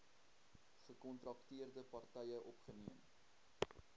gekontrakteerde partye opgeneem